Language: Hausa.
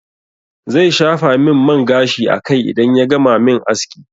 Zai shafa min man gashi a kai idan ya gama min aski.